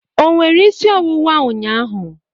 O nwere isi ọwụwa ụnyaahụ?